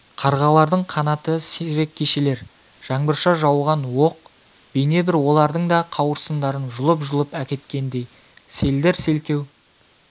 қарғалардың қанаты сирек кешелер жаңбырша жауған оқ бейнебір олардың да қауырсындарын жұлып-жұлып әкеткендей селдір-селкеу